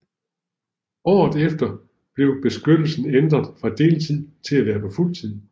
Året efter blev beskyttelsen ændret fra deltid til at være på fuld tid